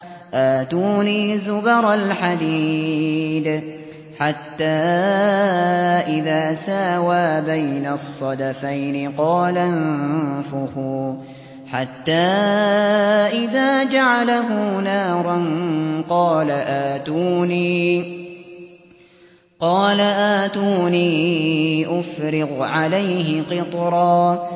آتُونِي زُبَرَ الْحَدِيدِ ۖ حَتَّىٰ إِذَا سَاوَىٰ بَيْنَ الصَّدَفَيْنِ قَالَ انفُخُوا ۖ حَتَّىٰ إِذَا جَعَلَهُ نَارًا قَالَ آتُونِي أُفْرِغْ عَلَيْهِ قِطْرًا